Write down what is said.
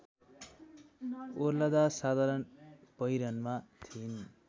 ओर्लंदा साधारण पहिरनमा थिइन्